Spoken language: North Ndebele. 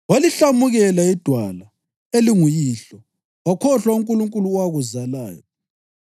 Walihlamukela iDwala, elinguyihlo; wakhohlwa uNkulunkulu owakuzalayo.